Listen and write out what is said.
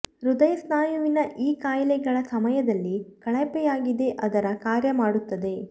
ಹೃದಯ ಸ್ನಾಯುವಿನ ಈ ಕಾಯಿಲೆಗಳ ಸಮಯದಲ್ಲಿ ಕಳಪೆಯಾಗಿದೆ ಅದರ ಕಾರ್ಯ ಮಾಡುತ್ತದೆ